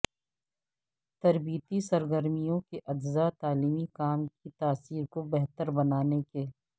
تربیتی سرگرمیوں کے اجزاء تعلیمی کام کی تاثیر کو بہتر بنانے کے